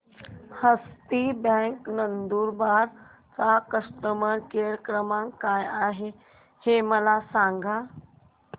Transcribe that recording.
हस्ती bank Nandurbar चा customer care क्रमांक काय आहे हे मला सांगा